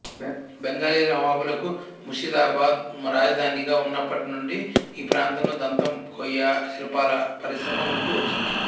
బెంగలీ నవాబులకు ముర్షిదాబాద్ రాజధానిగా ఉన్నప్పటి నుండి ఈ ప్రాంతంలో దంతం కొయ్య శిల్పాల పరిశ్రమ ఉంటూ వచ్చింది